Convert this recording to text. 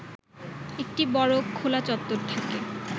একটি বড় খোলা চত্বর থাকে